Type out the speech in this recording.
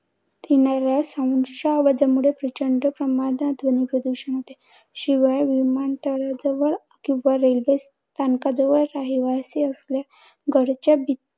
येणाऱ्या sounds च्या आवाजामुळे प्रचंड प्रमाणात ध्वनी प्रदूषण होते. शिवाय विमानतळ जवळ किंवा railway स्थानकाजवळ असलेल्या घराच्या